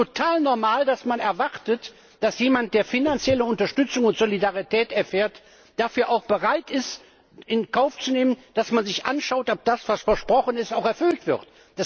Ist es nicht total normal, dass man erwartet, dass jemand, der finanzielle Unterstützung und Solidarität erfährt, dafür auch bereit ist, in Kauf zu nehmen, dass man sich anschaut, ob das, was versprochen ist, auch erfüllt wird?